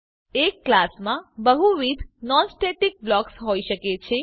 એક ક્લાસમાં બહુવિધ નોન સ્ટેટિક બ્લોકસ હોય શકે છે